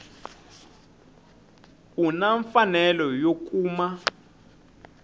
u na mfanelo yo kuma